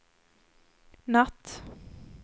natt